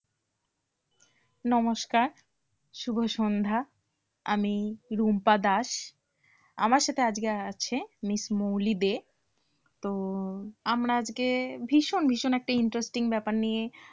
নমস্কার শুভ সন্ধ্যা। আমি রুম্পা দাস আমার সাথে আজকে আছে Miss মৌলি দে। তো আমরা আজকে ভীষণ ভীষণ একটা interesting ব্যাপার নিয়ে,